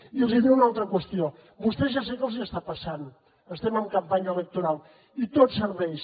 i els diré una altra qüestió a vostès ja sé què els està passant estem en campanya electoral i tot serveix